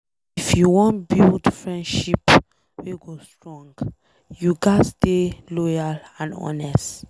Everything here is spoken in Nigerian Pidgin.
If you wan build friendship wey go strong, you ghas dey loyal and honest.